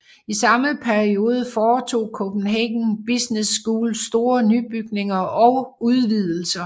I samme periode foretog Copenhagen Business School store nybygninger og udvidelser